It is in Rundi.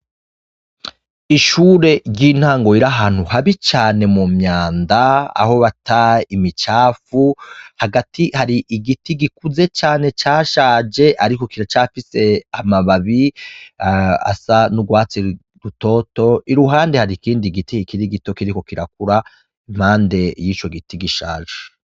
Ishure ry'intango riri ahantu habi cane mu myanda aho bata imicafu, hagati hari igiti gikuze cane cashaje, ariko kiracafise amababi asa n'urwatsi rutoto, i ruhande hari ikindi giti kikiri gito kiriko kirakura impande y'ico giti gishaje.